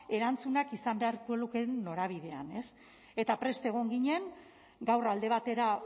erantzunak izan beharko lukeen norabidean eta prest egon ginen gaur alde batera